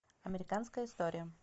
американская история